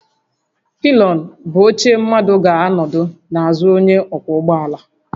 Pilion bụ oche mmadụ ga anọdụ n'azụ onye ọkwọ ụgbọ ala